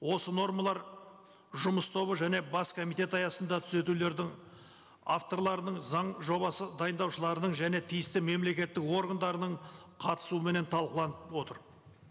осы нормалар жұмыс тобы және бас комитет аясында түзетулердің авторларының заң жобасы дайындаушыларының және тиісті мемлекеттік органдарының қатысуыменен талқыланып отыр